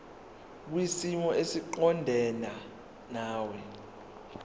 kwisimo esiqondena nawe